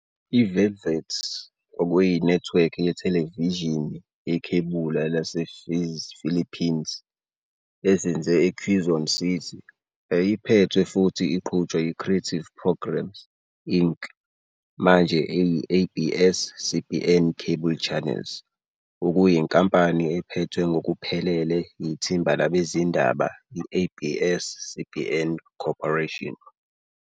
IVelvet kwakuyinethiwekhi yethelevishini yekhebula lasePhilippines ezinze eQuezon City. Yayiphethwe futhi iqhutshwa yiCreative Programs, Inc., manje eyi-ABS-CBN Cable Channels, okuyinkampani ephethwe ngokuphelele yithimba labezindaba i-ABS-CBN Corporation.